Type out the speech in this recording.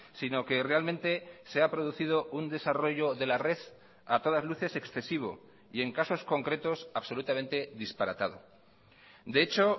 sino que realmente se ha producido un desarrollo de la red a todas luces excesivo y en casos concretos absolutamente disparatado de hecho